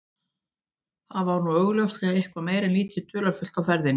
Þar var nú augljóslega eitthvað meira en lítið dularfullt á ferðinni.